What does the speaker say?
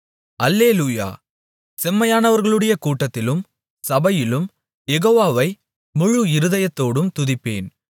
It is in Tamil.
அல்லேலூயா செம்மையானவர்களுடைய கூட்டத்திலும் சபையிலும் யெகோவாவை முழு இருதயத்தோடும் துதிப்பேன்